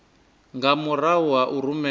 nga murahu ha u rumelwa